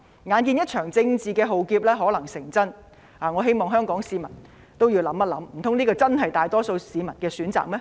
眼見一場政治的浩劫可能成真，我希望香港市民細想，難道這真的是大多數市民的選擇嗎？